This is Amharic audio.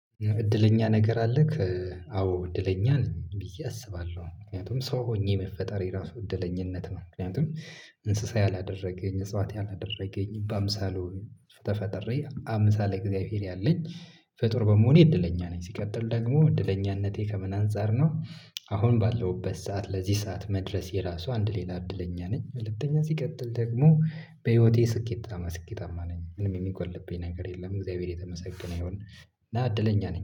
እድለኛ ነገር አለክ? አዎ እድለኛ ነኝ ብዬ አስባለሁ ምክንያቱም ሰው ሆኜ መፈጠሬ ራሱ እድለኝነት ነው። ምክንያቱም እንስሳ አላደረገኝ እጽዋቴ አላደረገኝ በአምሳሉ ተፈጥሬ አምሳለ እግዚአብሔር ያለኝ ፈጡር በመሆኔ እድለኛ ነኝ። ሲቀጥል ደግሞ እድለኛነቴ ከምን አንፃር ነው አሁን ባለውበት ሰዓት ለዚህ ሰዓት መድረስ ራሱ አንድ ሌላ እድለኛ ነኝ። ሁለተኛ ሲቀጥል ደግሞ በህይወቴ ስኬታማ ስኬታማ ነኝ ምንም የሚጎልብኝ ነገር የለም እግዚአብሔር የተመሰገነ ይሆን። እድለኛ ነኝ